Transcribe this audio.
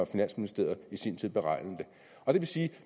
finansministeriet i sin tid beregnede det og det vil sige at